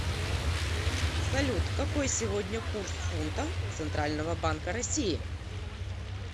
салют какой сегодня курс фунта центрального банка россии